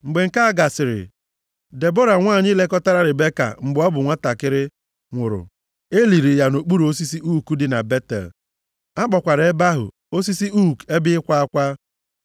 Mgbe nke a gasịrị, Debọra, nwanyị lekọtara Ribeka mgbe ọ bụ nwantakịrị, nwụrụ. E liri ya nʼokpuru osisi ook dị na Betel. A kpọkwara ebe ahụ, “Osisi ook ebe ịkwa akwa.”